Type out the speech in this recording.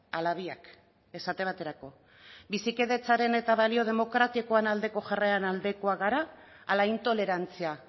ala biak esate baterako bizikidetzaren eta balio demokratikoen aldeko jarreren aldekoak gara ala intolerantzia